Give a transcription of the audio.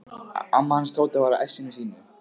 Amma hans Tóta var í essinu sínu.